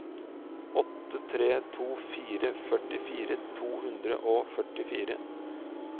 åtte tre to fire førtifire to hundre og førtifire